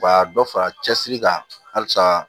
U ka dɔ fara cɛsiri kan halisa